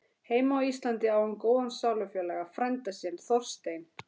Heima á Íslandi á hún góðan sálufélaga, frænda sinn Þorstein